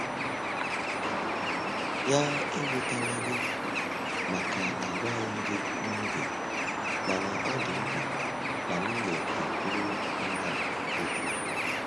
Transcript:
Ya ewutela gị màkà agwaghị m gị n'oge, mana ọ dị mkpa na m ga-ekwuru mmadụ ókwú.